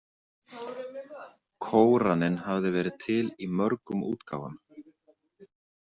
Kóraninn hafði verið til í mörgum útgáfum.